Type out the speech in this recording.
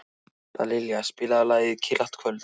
Dallilja, spilaðu lagið „Kyrrlátt kvöld“.